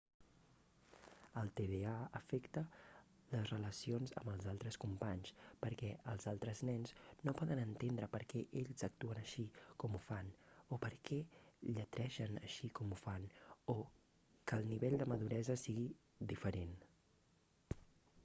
el tda afecta les relacions amb els altres companys perquè els altres nens no poden entendre per què ells actuen així com ho fan o per què lletregen així com ho fan o que el nivell de maduresa sigui diferent